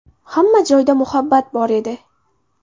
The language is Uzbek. Hamma joyda muhabbat bor edi.